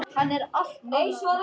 Hann er allt annar maður.